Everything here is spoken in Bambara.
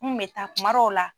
Ni kun bɛ taa kumadɔw la